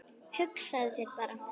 Hugsaðu þér bara!